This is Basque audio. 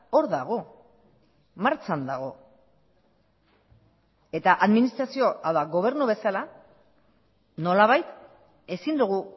hor dago martxan dago eta administrazio edo gobernu bezala nolabait ezin dugu